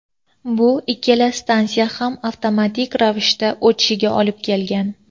bu ikkala stansiya ham avtomatik ravishda o‘chishiga olib kelgan.